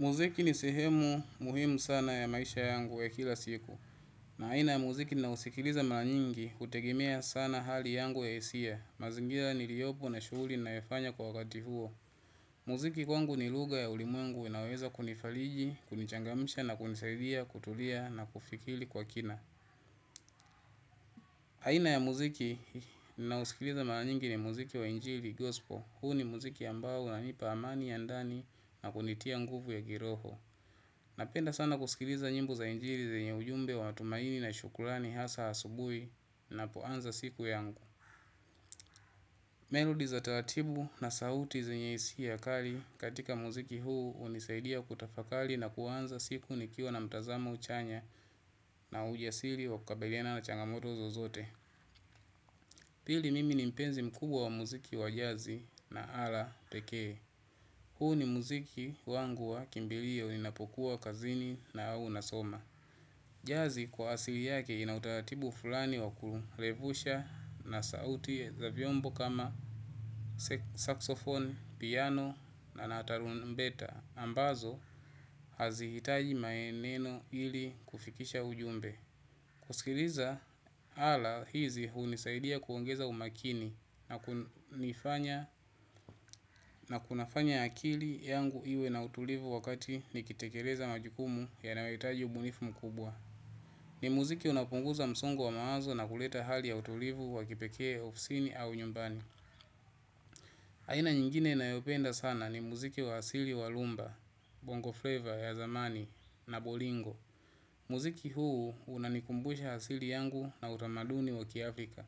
Muziki ni sehemu muhimu sana ya maisha yangu ya kila siku. Na aina ya muziki ninausikiliza mara nyingi hutegemea sana hali yangu ya hisia. Mazingira niliyopo na shughuli ninayofanya kwa wakati huo. Muziki kwangu ni lugha ya ulimwengu inayoweza kunifariji, kunichangamsha na kunisaidia kutulia na kufikiri kwa kina. Aina ya muziki ninaosikiliza mara nyingi ni muziki wa injili, gospel. Huu ni muziki ambao unanipa amani ya ndani na kunitia nguvu ya kiroho. Napenda sana kusikiliza nyimbo za injili zenye ujumbe wa matumaini na shukurani hasa asubuhi ninapoanza siku yangu. Melody za taratibu na sauti zenye hisia kali katika muziki huu hunisaidia kutafakari na kuanza siku nikiwa na mtazamo chanya na ujasiri wa kukabiliana na changamoto zozote. Pili mimi ni mpenzi mkubwa wa muziki wa jazi na ala pekee. Huu ni muziki wangu wa kimbilio ninapokuwa kazini au nasoma. Jazi kwa asili yake ina utaratibu fulani wa kuerevusha na sauti za vyombo kama saxophone, piano na tarumbeta ambazo hazihitaji maneno ili kufikisha ujumbe. Kusikiliza ala hizi hunisaidia kuongeza umakini na kunifanya na kunafanya akili yangu iwe na utulivu wakati nikitekeleza majukumu yanayohitaji ubunifu mkubwa. Ni muziki unaopunguza msongo wa mawazo na kuleta hali ya utulivu wa kipekee ofisini au nyumbani. Aina nyingine ninayopenda sana ni muziki wa asili wa rhumba, bongo flavor ya zamani na bolingo. Muziki huu unanikumbusha asili yangu na utamaduni wa kiafrika.